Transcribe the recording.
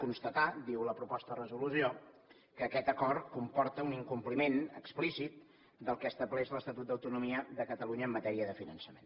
constatar diu la proposta de resolució que aquest acord comporta un incompliment explícit del que estableix l’estatut d’autonomia de catalunya en matèria de finançament